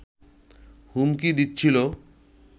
হুমকি দিচ্ছিল